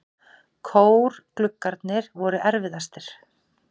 Kórgluggarnir voru erfiðastir.